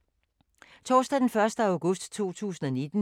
Torsdag d. 1. august 2019